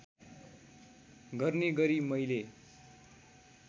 गर्ने गरी मैले